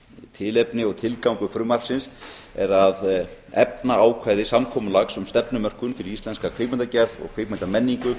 tilefni og tilgangur frumvarpi er að efna ákvæði samkomulags um stefnumörkun fyrir íslenska kvikmyndagerð og